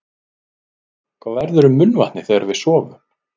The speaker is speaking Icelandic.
Hvað verður um munnvatnið þegar við sofum?